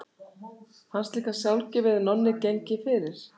Fannst líka sjálfgefið að Nonni gengi fyrir.